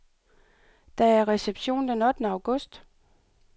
Der er reception den ottende august.